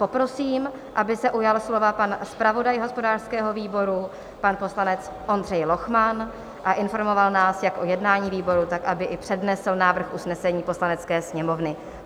Poprosím, aby se ujal slova pan zpravodaj hospodářského výboru, pan poslanec Ondřej Lochman a informoval nás jak o jednání výboru, tak aby i přednesl návrh usnesení Poslanecké sněmovny.